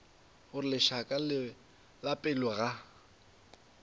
gore lešaka la pelo ga